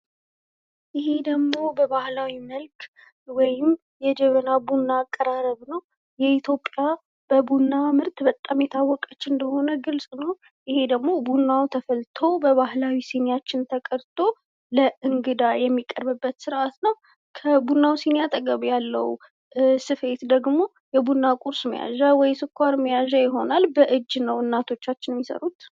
ይሔ ደግሞ በባህላዊ መልክ ወይም የጀበና ቡና አቀራረብ ነዉ። የኢትዮጵያ በቡና ምርት በጣም የታወቀች እንደሆነ ግልፅ ነዉ። ይሔ ደግሞ ቡናዉ ተፈልቶ በባህላዊ ሲኒያችን ተቀድቶ ለእንግዳ የሚቀርብበት ስርዓት ነዉ። ከቡናዉ ሲኒ አጠገብ ያለዉ ስፌት ደግሞ የቡና ቁርስ መያዣ ወይም ስኳር መያዣ ይሆናል። እናቶቻችን በእጃቸዉ ነዉ የሚሰፉት